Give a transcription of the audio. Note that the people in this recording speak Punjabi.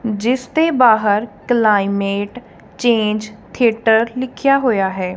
ਜਿਸ ਦੇ ਬਾਹਰ ਕਲਾਈਮੇਟ ਚੇਂਜ ਥੀਏਟਰ ਲਿਖਿਆ ਹੋਇਆ ਹੈ।